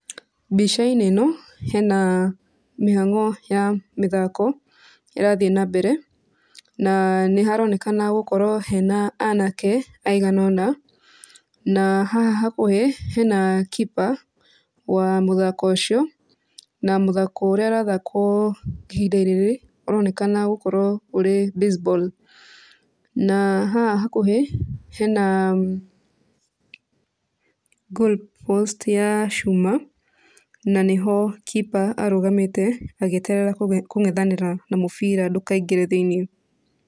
Mbica-inĩ ĩno hena mĩhang'o ya mĩthako ĩrathiĩ na mbere na nĩ haronekana gũkorwo hena anake aigana ũna na haha hakũhĩ hena keeper wa mũthako ũcio na mũthako ũrĩa ũrathakwo ihinda-inĩ rĩrĩ ũronekana gũkorwo ũrĩ baseball, na haha hakuhĩ hena goal post ya cuma na nĩho keeper arũgamĩte agĩeterera kũng'enthanĩra na mũbira ndũkaingire thĩiniĩ.